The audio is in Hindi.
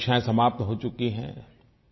अब परीक्षायें समाप्त हो चुकी हैं